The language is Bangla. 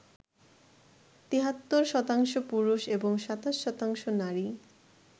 ৭৩% পুরুষ এবং ২৭% নারী